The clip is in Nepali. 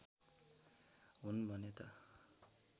हुन् भने त